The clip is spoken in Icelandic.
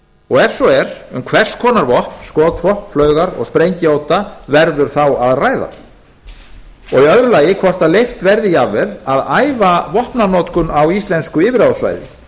og ef svo er um hvers konar vopn skotvopn flaugar og sprengjuodda verður þá að ræða í öðru lagi hvort leyft verði jafnvel að æfa vopnanotkun á íslensku yfirráðasvæði